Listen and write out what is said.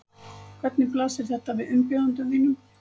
Hvernig blasir þetta við umbjóðendum þínum?